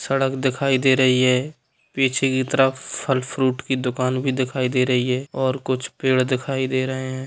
--सड़क दिखाई दे रही है पीछे की तरफ फल फ्रूट की दुकान भि दिखाई दे रही है और कुछ पेड़ दिखाई दे रहे हैं।